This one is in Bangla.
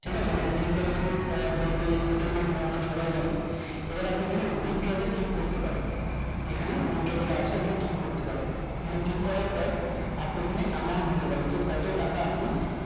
ঠিক আছে মানে three plus two আহ date এ settlement মানে আমরা সবাই জানি এইবার আপনি এখানে withdraw তে click করতে পারেন এখানে click করার পর আপনি এখানে amount দিতে পারেন যে কত টাকা আপনি